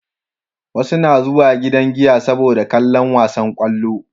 Wasu na zuwa gidan giya saboda kallon wasan kwallo